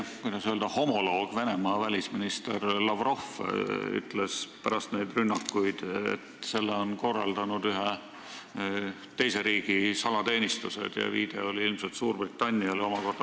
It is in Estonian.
Teie, kuidas öelda, homoloog Venemaa välisminister Lavrov ütles pärast rünnakut, et selle on korraldanud ühe teise riigi salateenistused ja viide oli ilmselt Suurbritanniale.